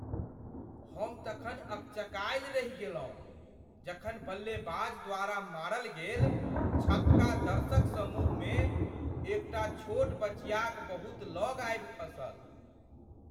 हम तखन अकचकायल रहि गेलहुँ जखन बल्लेबाज द्वारा मारल गेल छक्का दर्शक समूहमे एकटा छोट बचियाक बहुत लग आबि खसल।